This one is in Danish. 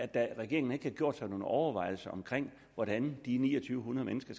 dag at regeringen ikke har gjort sig nogen overvejelser om hvordan de ni hundrede mennesker